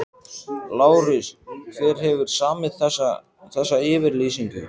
LÁRUS: Hver hefur samið þessa yfirlýsingu?